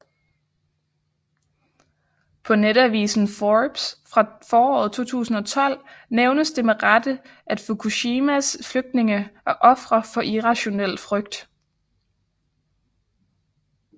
På netavisen Forbes fra foråret 2012 nævnes det med rette at Fukushimas flygtninge er ofre for irrationel frygt